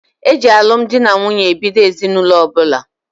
E ji alụ m di na nwunye ebido ezinụlọ ọbụla.